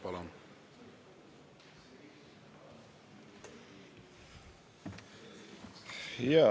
Palun!